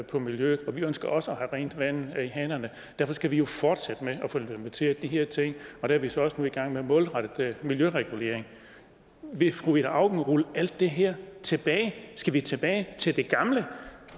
på miljøet og vi ønsker også at have rent vandt i hanerne derfor skal vi fortsætte med at få implementeret de her ting der er vi så også nu i gang med en målrettet miljøregulering vil fru ida auken rulle alt det her tilbage skal vi tilbage til det gamle